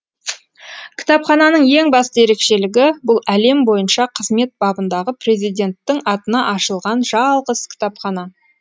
кітапхананың ең басты ерекшелігі бұл әлем бойынша қызмет бабындағы президенттің атына ашылған жалғыз кітапхана